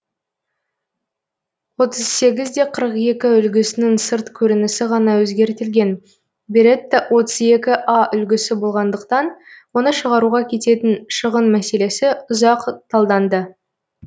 отыз сегіз де қырық екі үлгісінің сырт көрінісі ғана өзгертілген беретта отыз екі а үлгісі болғандықтан оны шығаруға кететін шығын мәселесі ұзақ талданды